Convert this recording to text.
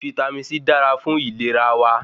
Vítámì C dára fún ìlera wa